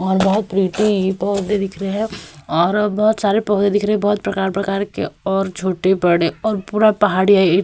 और बोहोत प्रिटी पौधे दिख रहे हैें और बोहोत सारे पौधे दिख रहे है बोहोत प्रकार-प्रकार के और छोटे-बड़े और पूरा पहाड़िया --